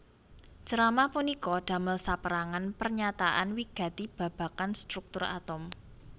Ceramah punika damel sapérangan pernyataan wigati babagan struktur atom